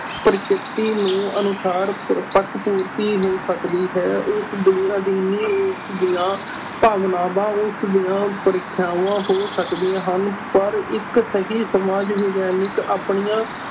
ਪ੍ਰਕਿਰਤੀ ਨੂੰ ਅਨੁਸਾਰ ਪ~ ਪੱਖਪੂਰਤੀ ਹੋ ਸਕਦੀ ਹੈ ਉਸਦੇ ਬਿਨਾਂ ਭਾਵਨਾਵਾਂ ਉਸਦੀਆਂ ਪ੍ਰੀਖਿਆਵਾਂ ਹੋ ਸਕਦੀਆਂ ਹਨ, ਪਰ ਇਕ ਸਹੀ ਸਮਾਜ ਵਿਗਿਆਨਿਕ ਆਪਣੀਆਂ